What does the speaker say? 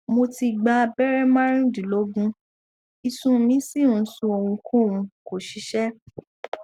mo ti gba abere marundinlogun isun mi si n sun ohunkohun ko ṣiṣẹ